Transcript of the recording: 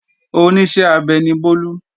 Oníṣẹ́ abẹ ni Bólú